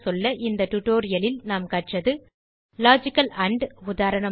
இந்த டியூட்டோரியல்லில் நாம் கற்றது லாஜிக்கல் ஆண்ட் உதாரணமாக